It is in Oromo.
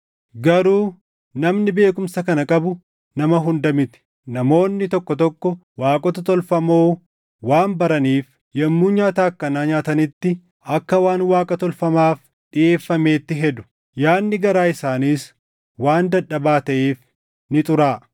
Garuu namni beekumsa kana qabu nama hunda miti. Namoonni tokko tokko waaqota tolfamoo waan baraniif yommuu nyaata akkanaa nyaatanitti akka waan Waaqa tolfamaaf dhiʼeeffameetti hedu; yaadni garaa isaaniis waan dadhabaa taʼeef ni xuraaʼa.